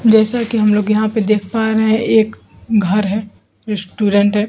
जैसा कि हम लोग यहां पे देख पा रहे हैं एक घर है रेस्टोरेंट है।